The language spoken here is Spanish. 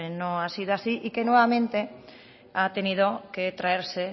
no ha sido así y que nuevamente ha tenido que traerse